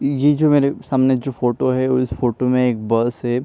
ये जो मेरे सामने जो फोटो है इस फोटो में एक बस है।